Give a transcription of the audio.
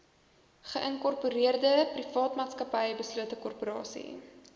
geïnkorpereerdeprivaatmaatsappy beslote korporasie